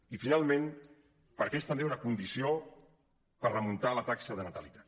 i finalment perquè és també una condició per remuntar la taxa de natalitat